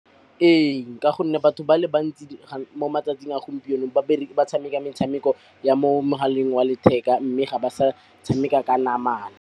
Ee, ka gonne batho ba le bantsi mo matsatsing a gompieno ba tshameka metshameko ya mo mogaleng wa letheka mme ga ba sa tshameka ka namana.